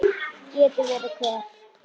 Geti verið hver?